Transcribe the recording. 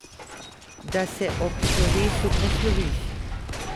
Da se ob slovesu posloviš.